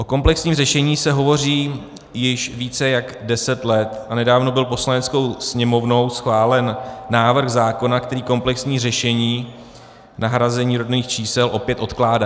O komplexním řešení se hovoří již více jak deset let a nedávno byl Poslaneckou sněmovnou schválen návrh zákona, který komplexní řešení nahrazení rodných čísel opět odkládá.